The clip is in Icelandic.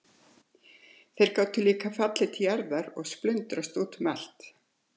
Þeir gátu líka fallið til jarðar og splundrast út um allt.